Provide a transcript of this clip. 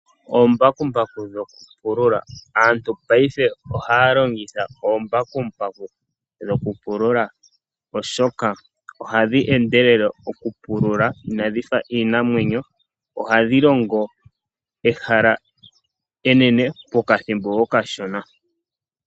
Oombakuku dhokupula, aantu paife ohaya longitha oombakumbaku dhokupulula oshoka ohadhi endelele okupulula inadhifa iinamwenyo, ohadhilongo ehala enene pokathimbo okashona.